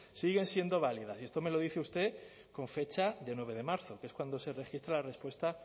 siguen siendo válidas y esto me lo dice usted con fecha de nueve de marzo que es cuando se registra la respuesta